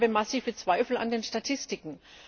Aber ich habe massive Zweifel an den Statistiken.